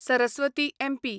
Saraswati MP